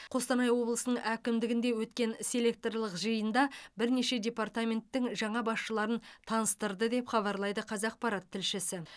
қостанай облысының әкімдігінде өткен селекторлық жиында бірнеше департаменттің жаңа басшыларын таныстырды деп хабарлайды қазақпарат тілшісі